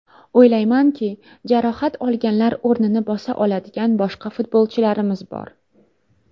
O‘ylaymanki, jarohat olganlar o‘rnini bosa oladigan boshqa futbolchilarimiz bor.